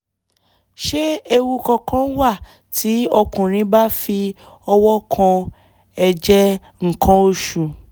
ṣé ewu kankan wà tí ọkùnrin bá fi ọwọ́ kan ẹ̀jẹ̀ nǹkan oṣù?